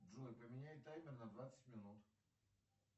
джой поменяй таймер на двадцать минут